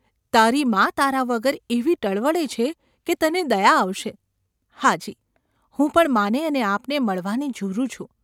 તારી મા તારા વગર એવી ટળવળે છે કે તને દયા આવશે !’ ‘હા, જી ! હું પણ માને અને આપને મળવાને ઝૂરું છું.